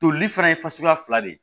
Toli fana ye fasuguya fila de ye